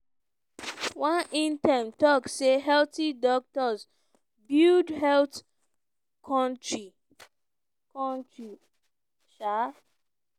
one intern tok say "healthy doctor build health kontri. kontri. um